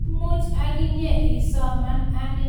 Imuch aginye isoman: Anii Bakr al-Baghdadi koging'o?